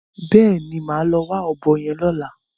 Bẹ́ẹ̀ni, màá lọ wá ọ̀bọ yẹn lọ́la.